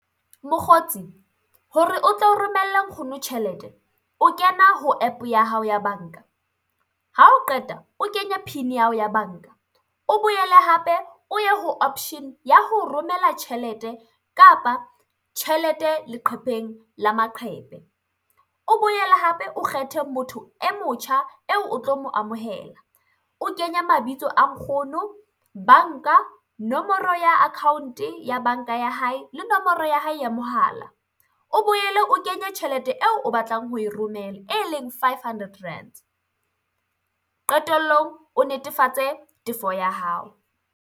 Mokgotsi, hore o tlo romelle nkgono tjhelete, o kena ho app ya hao ya banka, ha o qeta o kenye PIN ya hao ya banka, o boele hape o ye ho option ya ho romela tjhelete kapa tjhelete leqepheng la maqhepe. O boele hape o kgethe motho e motjha eo o tlo mo amohela, o kenye mabitso a nkgono, banka, nomoro ya account ya banka ya hae le nomoro ya hae ya mohala, o boele o kenye tjhelete eo o batlang ho e romela, e leng five hundred rands. Qetellong o netefatse tefo ya hao.